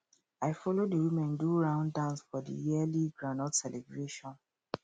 i follow the women do round dance for the yearly groundnut celebration